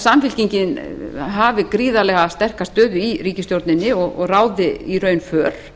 samfylkingin hafi gríðarlega sterka stöðu í ríkisstjórninni og ráði í raun för